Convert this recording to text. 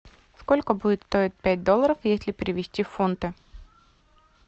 сколько будет стоить пять долларов если перевести в фунты